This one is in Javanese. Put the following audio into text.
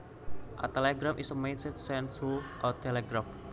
A telegram is a message sent through a telegraph